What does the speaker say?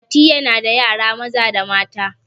mati yana da yara Maza da mata